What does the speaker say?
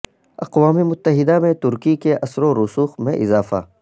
اقوام متحدہ میں ترکی کے اثرو رسوخ میں اضافہ